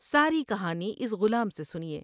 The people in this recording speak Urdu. ساری کہانی اس غلام سے سنیے ۔